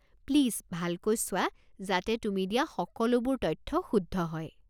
Please ভালকৈ চোৱা যাতে তুমি দিয়া সকলোবোৰ তথ্য শুদ্ধ হয়।